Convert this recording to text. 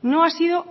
no ha sido